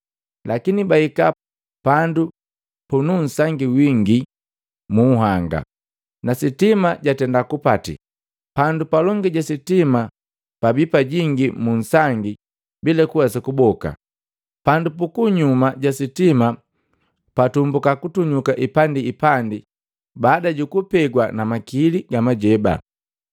Lakini bahika pandu pununsangi wingi mu nhanga, na sitima jatenda kupati. Pandu palongi ja sitima pabi pajingi mu nsangi bila kuwesa kuboka. Pandu puku nyuma ja sitima pa tumbuka kutunyuka ipandi ipandi baada jukupegwa na makili ga majeba.